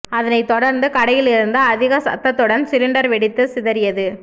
அதனை தொடர்ந்து கடையில் இருந்து அதிக சத்தத்துடன் சிலிண்டர் வெடித்து சிதறியது